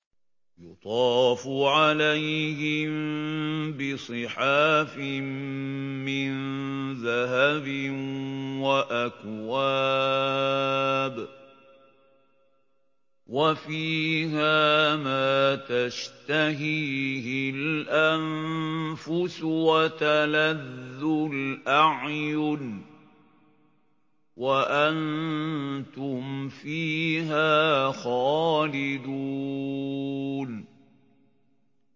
يُطَافُ عَلَيْهِم بِصِحَافٍ مِّن ذَهَبٍ وَأَكْوَابٍ ۖ وَفِيهَا مَا تَشْتَهِيهِ الْأَنفُسُ وَتَلَذُّ الْأَعْيُنُ ۖ وَأَنتُمْ فِيهَا خَالِدُونَ